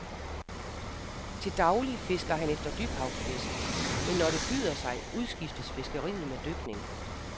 Til daglig fisker han efter dybhavsfisk, men når det byder sig, udskiftes fiskeriet med dykning.